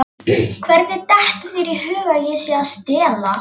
Hvernig dettur þér í hug að ég sé að stela?